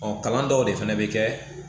Ɔ kalan dɔw de fana bɛ kɛ